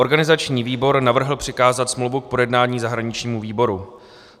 Organizační výbor navrhl přikázat smlouvu k projednání zahraničnímu výboru.